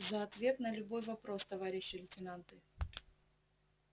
за ответ на любой вопрос товарищи лейтенанты